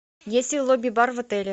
есть ли лобби бар в отеле